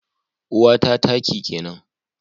Uwata taki kenan